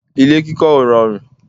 ilé kíkọ́ ò rọrùn